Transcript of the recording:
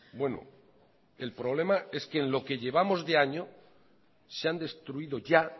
bueno el problema es que en lo que llevamos de año se han destruido ya